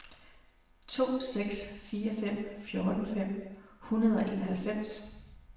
to seks fire fem fjorten fem hundrede og enoghalvfems